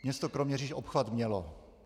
Město Kroměříž obchvat mělo.